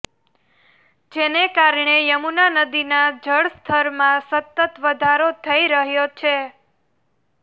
જેને કારણે યમુના નદીના જળસ્તરમાં સતત વધારો થઈ રહ્યો છે